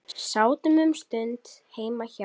Sátum um stund heima hjá